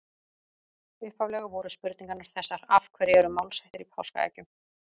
Upphaflega voru spurningarnar þessar: Af hverju eru málshættir í páskaeggjum?